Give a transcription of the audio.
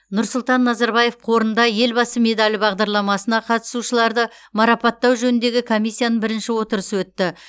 нұрсұлтан назарбаев қорында елбасы медалі бағдарламасына қатысушыларды марапаттау жөніндегі комиссияның бірінші отырысы өтті